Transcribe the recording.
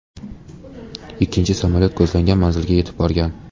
Ikkinchi samolyot ko‘zlangan manzilga yetib borgan.